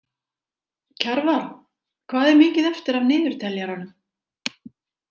Kjarval, hvað er mikið eftir af niðurteljaranum?